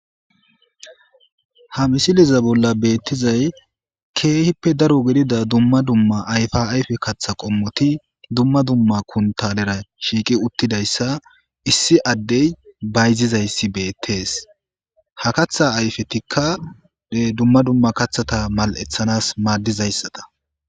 ha misiliza bolla beettizay keehippe daro gidida dumma dumma ayfa ayfe kaththa qommoti dumma dumma kuntalera shiiqi uttidayssa issi addey bayzizayssi beettees ha katha ayfetikka dumma dumma kathata mal7eththanas maaddizayssata